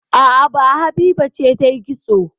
A'a, ba Habiba ce ta yi kitso